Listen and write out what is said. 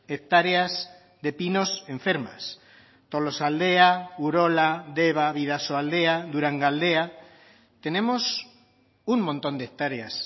hectáreas de pinos enfermas tolosaldea urola deba bidasoaldea durangaldea tenemos un montón de hectáreas